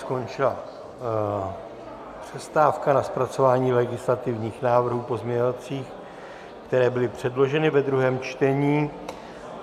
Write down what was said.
Skončila přestávka na zpracování legislativních návrhů pozměňovacích, které byly předloženy ve druhém čtení.